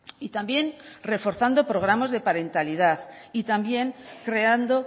y también reforzando programas de parentalidad y también creando